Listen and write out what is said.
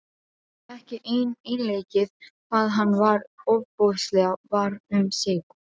Ekki einleikið hvað hann var ofboðslega var um sig.